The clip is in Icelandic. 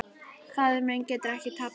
Faðir minn getur ekki tapað.